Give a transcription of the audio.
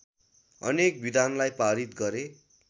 अनेक विधानलाई पारित गरे